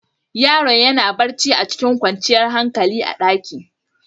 Yaron ya na barci a cikin kwancan hankali a'ɗaki.